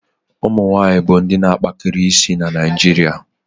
ụmụ nwanyịwaanyị bụ ndị na akpakari isi na Naịjiria